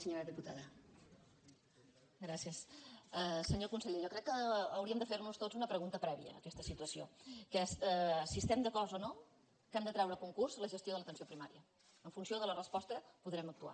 senyor conseller jo crec que hauríem de fernos tots una pregunta prèvia a aquesta situació que és si estem d’acord o no al fet que hem de treure a concurs la gestió de l’atenció primària en funció de la resposta podrem actuar